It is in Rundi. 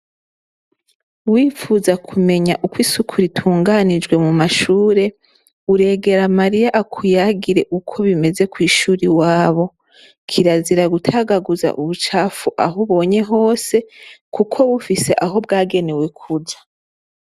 Wipfuza kumenya uko isuku ritunganijwe mu mashure, uregera Mariya akuyagire uko bimeze kw'ishure iwabo. Kirazira gutagaguza ubucafu aho ubonye hose kuko bufise aho bwagenewe kuja.